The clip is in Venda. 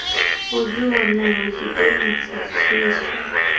o di wanela tshitentsi tshiswa